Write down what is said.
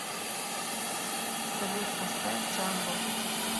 салют поставь джамбул